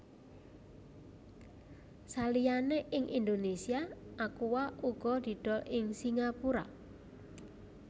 Saliyane ing Indonesia Aqua uga didol ing Singapura